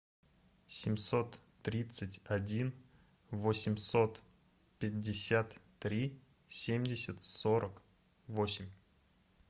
семьсот тридцать один восемьсот пятьдесят три семьдесят сорок восемь